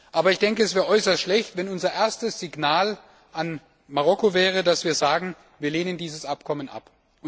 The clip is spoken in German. Aber es wäre äußerst schlecht, wenn unser erstes Signal an Marokko wäre, dass wir sagen Wir lehnen dieses Abkommen ab.